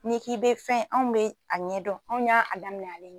N'i k'i bɛ fɛn anw bɛ a ɲɛdɔn anw ya a damina ale ɲɛ.